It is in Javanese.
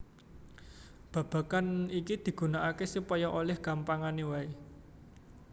Babagan iki digunakaké supaya olih gampangané wae